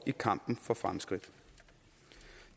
i kampen for fremskridt